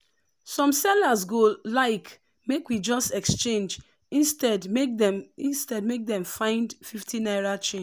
some sellers go like make we just exchange instead make dem dey find fifty naira change.